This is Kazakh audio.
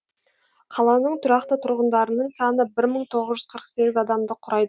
қаланың тұрақты тұрғындарының саны бір мың тоғыз жүз қырық сегіз адамды құрайды